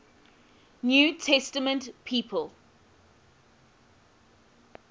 new testament people